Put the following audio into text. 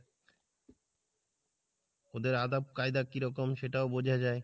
ওদের আদব কায়দা কিরকম সেটাও বোঝা যাই।